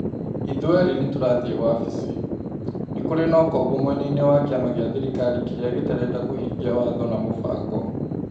Ithuerĩ nĩ tũrathiĩ wabici. Nĩ kũrĩ na ũkombo mwena-inĩ wa kĩama gĩa thirikari kĩrĩa gĩtarenda kũhingia watho na mũbango.